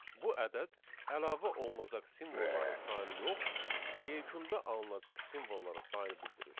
Bu ədəd əlavə olunacaq simvolların sayını yox, yekunda alınacaq simvolların sayını bildirir.